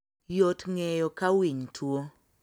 Yot ng'eyo ka winy tuo